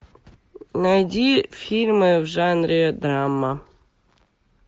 найди фильмы в жанре драма